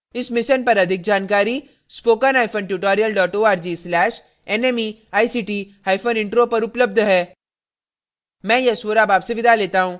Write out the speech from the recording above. इस मिशन पर अधिक जानकारी